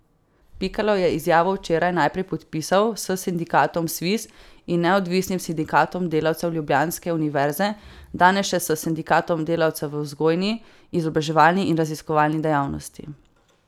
Pikalo je izjavo včeraj najprej podpisal s sindikatom Sviz in Neodvisnim sindikatom delavcev ljubljanske univerze, danes še s sindikatom delavcev v vzgojni, izobraževalni in raziskovalni dejavnosti.